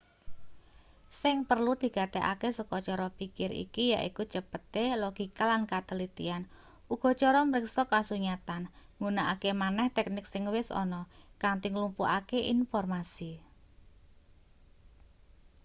sing perlu digatekake saka cara pikir iki yaiku cepete logika lan katelitian uga cara mriksa kasunyatan nggunakake maneh teknik sing wis ana kanthi nglumpukake informasi